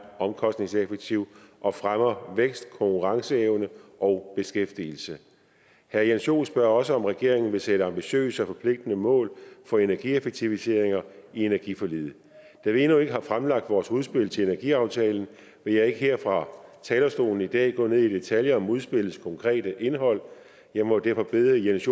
omkostningseffektiv og fremmer vækst konkurrenceevne og beskæftigelse herre jens joel spørger også om regeringen vil sætte ambitiøse og forpligtende mål for energieffektiviseringer i energiforliget da vi endnu ikke har fremlagt vores udspil til energiaftalen vil jeg ikke her fra talerstolen i dag gå ned i detaljer om udspillets konkrete indhold og jeg må derfor bede jens